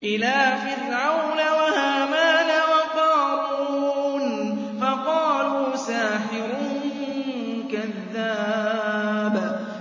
إِلَىٰ فِرْعَوْنَ وَهَامَانَ وَقَارُونَ فَقَالُوا سَاحِرٌ كَذَّابٌ